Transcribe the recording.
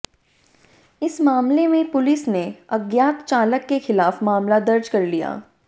इस मामले में पुलिस ने अज्ञात चालक के खिलाफ मामला दर्ज कर लिया